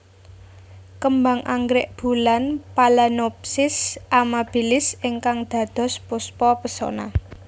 Kembang anggrek bulan Phalaenopsis amabilis ingkang dados Puspa Pesona